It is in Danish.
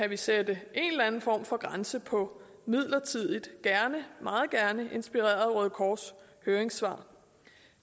vi sætte en eller anden form for grænse for midlertidigt meget gerne inspireret af røde kors høringssvar